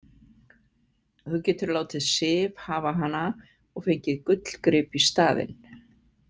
Þú getur látið Sif hafa hana og fengið gullgrip í staðinn